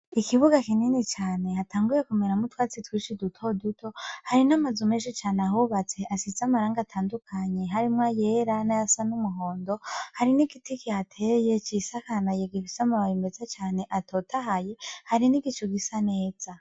Ikibuga kinini cane hatanguye kumeramwo utwatsi twinshi duto duto hari n'amazu menshi cane ahubatse asize amarangi atandukanye harimwo ayera nayasa n'umuhondo hari n'igiti kihateye cisakaye gifise amababi meza cane atotahaye hari n'igicu gisa neza.